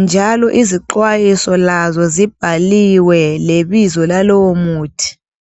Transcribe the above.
njalo izixwayiso lazo zibhaliwe lebizo lalowo muthi.